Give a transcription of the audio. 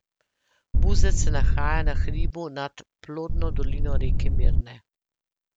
Buzet se nahaja na hribu nad plodno dolino reke Mirne.